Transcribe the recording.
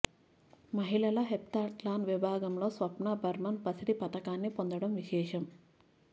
మహిళల హెప్తథ్లాన్ విభాగంలో స్వప్న బర్మన్ పసిడి పతకాన్ని పొందడం విశేషం